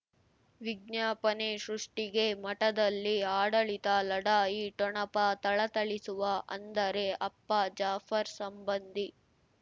ವಿಜ್ಞಾಪನೆ ಸೃಷ್ಟಿಗೆ ಮಠದಲ್ಲಿ ಆಡಳಿತ ಲಢಾಯಿ ಠೊಣಪ ಥಳಥಳಿಸುವ ಅಂದರೆ ಅಪ್ಪ ಜಾಫರ್ ಸಂಬಂಧಿ